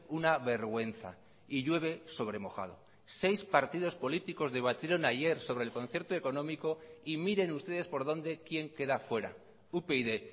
una vergüenza y llueve sobre mojado seis partidos políticos debatieron ayer sobre el concierto económico y miren ustedes por dónde quién queda fuera upyd